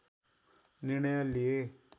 निर्णय लिए